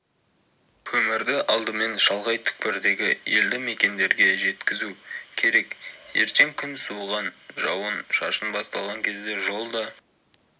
көмірді алдымен шалғай түкпірдегі елді мекендерге жеткізу керек ертең күн суыған жауын-шашын басталған кезде жол да